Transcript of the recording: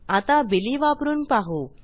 आता Billyवापरून पाहू